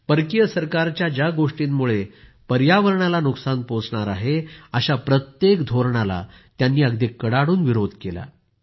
परकीय सरकारच्या ज्या गोष्टींमुळे पर्यावरणाला नुकसान पोहोचणार आहे अशा प्रत्येक धोरणाला त्यांनी अगदी कडाडून विरोध केला